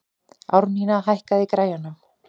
Árnína, hækkaðu í græjunum.